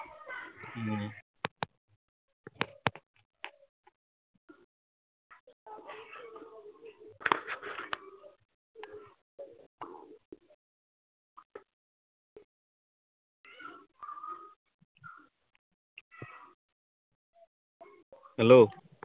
Hello